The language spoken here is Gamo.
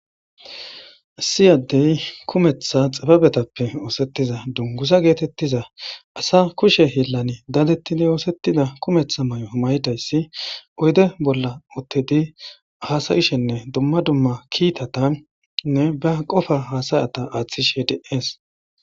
Issi addey kumeththa xababetappe oosettiza dungusa geetettiza asa kushe heellani daadettidi oosettida kumeththa may7o maydayssi oyde bolla uttedi hasayishenne dumma dumma kiitatanne ba qofa haasayata aaththishe de'es